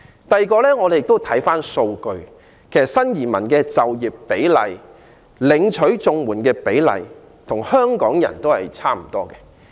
第二，如果我們看數據，便知道新移民就業及領取綜援的比例，與其他香港人差不多。